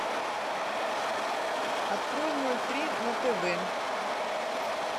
открой ноль три на тв